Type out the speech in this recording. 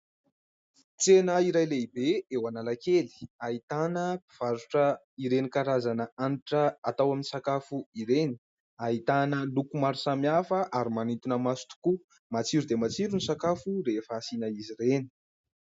Tsena iray lehibe eo Analakely, ahitana mpivarotra ireny karazana hanitra atao amin'ny sakafo ireny, ahitana loko maro samihafa, ary manintona maso tokoa. Matsiro dia matsiro ny sakafo rehefa asiana an'izy ireny !